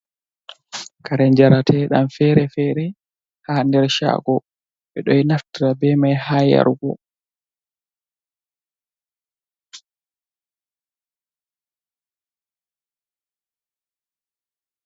Kare njarateɗam fere-fere ha nder chago, ɓe ɗo naftira be mai ha yarugo.